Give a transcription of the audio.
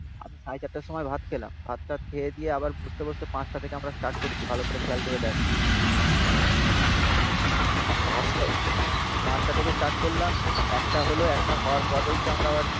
আমি সাড়ে চারটের সময় ভাত খেলাম. ভাত টাত খেয়ে দিয়ে আবার বুঝতে বুঝতে পাঁচটা থেকে আমরা স্টার্ট করেছি. ভালো করে খেয়াল করে দেখ পাঁচটা থেকে আমরা স্টার্ট করলাম. একটা হলো একটা হওয়ার পরেই তো আমরা আবার